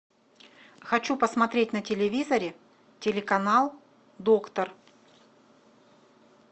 хочу посмотреть на телевизоре телеканал доктор